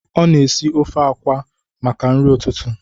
Ọ na-esi ofe akwa maka nri ụtụtụ